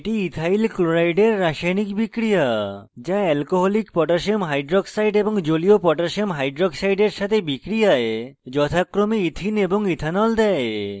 এটি ethyl chloride ethyl chloride এর রাসায়নিক বিক্রিয়া যা alcoholic potassium হাইক্সাইড koh এবং জলীয় potassium হাইক্সাইড koh এর সাথে বিক্রিয়ায় যথাক্রমে ethene c2h4 এবং ethyl c2h6o দেয়